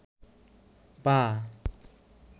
পা